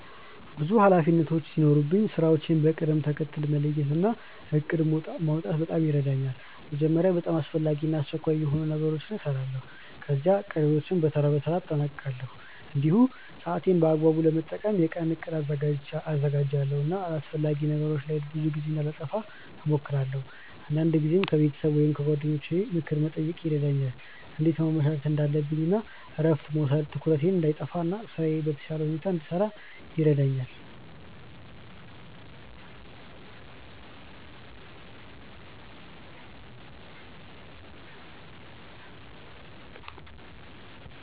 ብዙ ኃላፊነቶች ሲኖሩኝ ስራዎቼን በቅደም ተከተል መለየት እና እቅድ ማውጣት በጣም ይረዳኛል። መጀመሪያ በጣም አስፈላጊ እና አስቸኳይ የሆኑ ነገሮችን እሰራለሁ፣ ከዚያ ቀሪዎቹን በተራ በተራ አጠናቅቃለሁ። እንዲሁም ሰዓቴን በአግባቡ ለመጠቀም የቀን እቅድ አዘጋጃለሁ እና አላስፈላጊ ነገሮች ላይ ብዙ ጊዜ እንዳላጠፋ እሞክራለሁ። አንዳንድ ጊዜም ከቤተሰብ ወይም ከጓደኞቼ ምክር መጠየቅ ይረዳኛል እንዴት ማመቻቸት እንዳለብኝ እረፍት መውሰድም ትኩረቴን እንዳይጠፋ እና ስራዬን በተሻለ ሁኔታ እንድጨርስ ይረዳኛል።